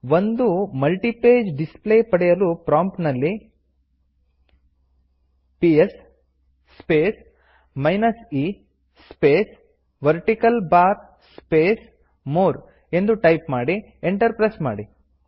ಒಂದು multipage display ಪಡೆಯಲು ಪ್ರಾಂಪ್ಟಿನಲ್ಲಿ PS space minus e space vertical bar space more ಎಂದು ಟೈಪ್ ಮಾಡಿ ಎಂಟರ್ ಪ್ರೆಸ್ ಮಾಡಿ